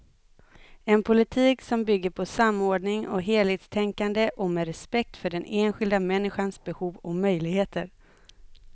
En politik som bygger på samordning och helhetstänkande och med respekt för den enskilda människans behov och möjligheter.